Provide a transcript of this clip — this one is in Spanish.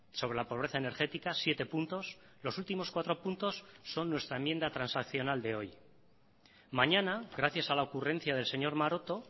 sobre la pobreza energética siete puntos los últimos cuatro puntos son nuestra enmienda transaccional de hoy mañana gracias a la ocurrencia del señor maroto